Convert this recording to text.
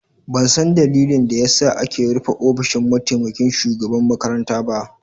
Ban san ɗalilin da ya sa ake rufe ofishin mataimaƙin shugaban makaranta ba.